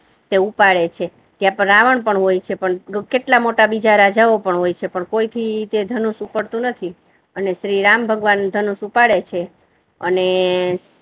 તે ઉપાડે છે. ત્યા રાવણ પણ હોય છે પણ કેટલા મોટા બીજા રાજાઓ પણ હોય છે. પણ કોઈ થી તે ધનુષ્ય ઉપડતુ નથી અને શ્રીરામ ભગવાન ધનુષ્ય ઉપાડે છે અને